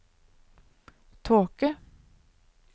tåke